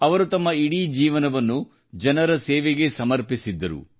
ಅವರು ತಮ್ಮ ಇಡೀ ಜೀವನವನ್ನು ಜನರ ಸೇವೆಗೇ ಸಮರ್ಪಿಸಿದ್ದರು